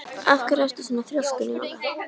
Af hverju ertu svona þrjóskur, Njóla?